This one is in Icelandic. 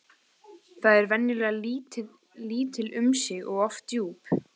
Þau eru venjulega lítil um sig og oft djúp.